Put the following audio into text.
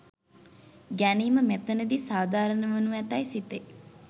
ගැනීම මෙතැනදී සාධාරණ වනු ඇතැයි සිතේ.